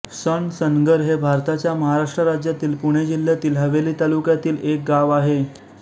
सणसनगर हे भारताच्या महाराष्ट्र राज्यातील पुणे जिल्ह्यातील हवेली तालुक्यातील एक गाव आहे